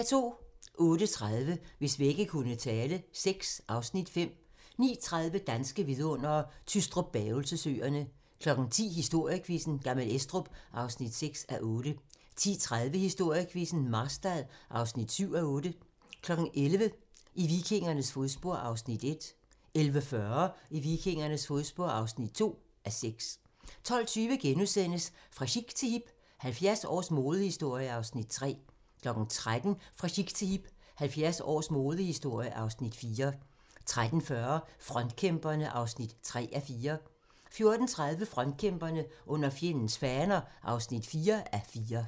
08:30: Hvis vægge kunne tale VI (Afs. 5) 09:30: Danske vidundere: Tystrup-Bavelse Søerne 10:00: Historiequizzen: Gammel Estrup (6:8) 10:30: Historiequizzen: Marstal (7:8) 11:00: I vikingernes fodspor (1:6) 11:40: I vikingernes fodspor (2:6) 12:20: Fra chic til hip - 70 års modehistorie (Afs. 3)* 13:00: Fra chic til hip – 70 års modehistorie (Afs. 4) 13:40: Frontkæmperne (3:4) 14:30: Frontkæmperne: Under fjendens faner (4:4)